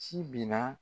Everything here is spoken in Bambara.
Ci binna